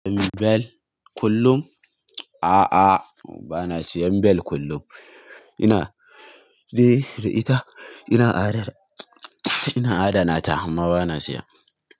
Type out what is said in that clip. Bel kullum? A'a, ba na siyan bel kullum. Ina, eh da ita, ina adana ta amma ba na siya.